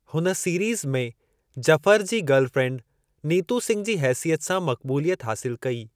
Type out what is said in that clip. हुन सीरीज़ में जफ़र जी गर्ल फ़्रेंड नीतू सिंघ जी हेसियत सां मक़बूलियत हासिलु कई।